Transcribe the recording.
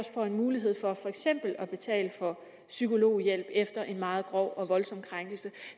får en mulighed for for eksempel at betale for psykologhjælp efter en meget grov og voldsom krænkelse